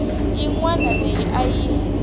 yin wana leyi a yi